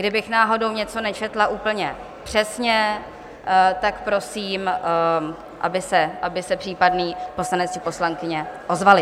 Kdybych náhodou něco nečetla úplně přesně, tak prosím, aby se případný poslanec či poslankyně ozvali.